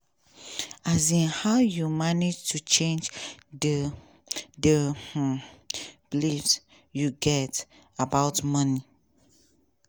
um how you manage to change di di um beliefs you get about money?